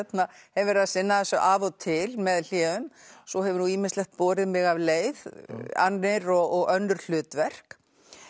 hef verið að sinna þessu af og til með hléum svo hefur nú ýmislegt borið mig af leið annir og önnur hlutverk